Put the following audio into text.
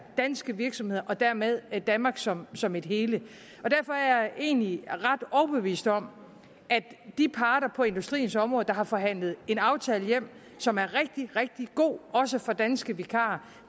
danske virksomheder og dermed danmark som som et hele og derfor er jeg egentlig ret overbevist om at de parter på industriens område som har forhandlet en aftale hjem som er rigtig rigtig god også for danske vikarer